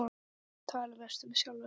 Tala mest um sjálfan sig.